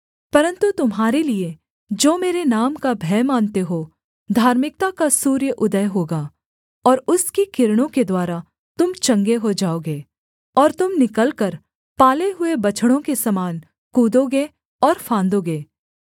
परन्तु तुम्हारे लिये जो मेरे नाम का भय मानते हो धार्मिकता का सूर्य उदय होगा और उसकी किरणों के द्वारा तुम चंगे हो जाओगे और तुम निकलकर पाले हुए बछड़ों के समान कूदोगे और फांदोगे